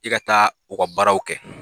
I ka taa u ka baaraw kɛ